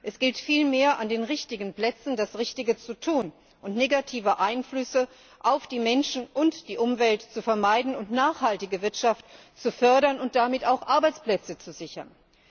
Es gilt vielmehr, an den richtigen Plätzen das Richtige zu tun und negative Einflüsse auf die Menschen und die Umwelt zu vermeiden, nachhaltige Wirtschaft zu fördern und damit auch Arbeitsplätze zu sichern.